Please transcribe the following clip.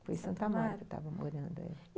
Foi em Santo Amaro estava morando, é